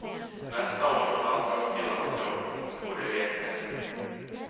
Nästa år får landslagkillarna se upp, och det vet de.